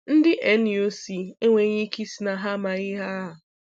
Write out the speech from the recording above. Ndị NUC enweghị ike ịsị na ha amaghị ihe a.